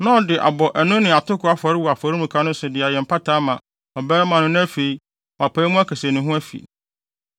na ɔde abɔ ɛne atoko afɔre wɔ afɔremuka no so de ayɛ mpata ama ɔbarima no na afei, wapae mu aka sɛ ne ho afi no.